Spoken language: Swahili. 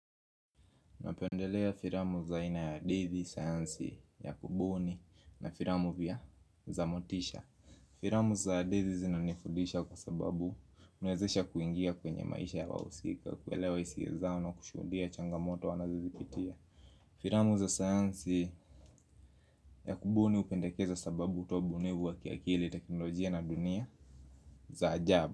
Napendelea filamu za aina ya dezi, sayansi, ya kubuni na filamu vya za motisha. Filamu za dezi zinanifudisha kwa sababu huniwezesha kuingia kwenye maisha ya wahusika. Kuelewa hisia zao na kushuhudia changamoto wanazozipitia. Filamu za sayansi ya kubuni hupendekeza sababu utobunivu wa kiakili teknolojia na dunia za ajabu.